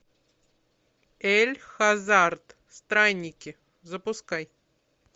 эль хазард странники запускай